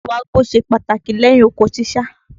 Ìwágbó ṣe pàtàkì lẹ́yin oko ṣíṣá